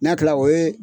N'a kilala o ye